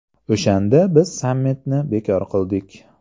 O‘shanda biz sammitni bekor qildik.